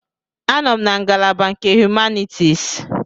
Anọ m na ngalaba nke Humanities.